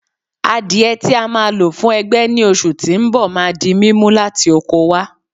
Àdiẹ tí a ma lò fuń ẹgbẹ́ ni oṣù tí ń bọ̀ ma di mímú láti oko wá